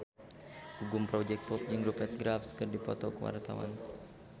Gugum Project Pop jeung Rupert Graves keur dipoto ku wartawan